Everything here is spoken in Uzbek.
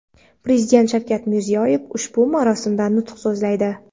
Prezident Shavkat Mirziyoyev ushbu marosimda nutq so‘zlaydi.